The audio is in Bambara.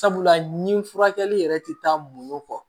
Sabula ni furakɛli yɛrɛ ti taa mun kɔ